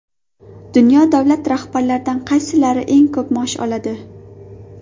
Dunyo davlat rahbarlaridan qaysilari eng ko‘p maosh oladi?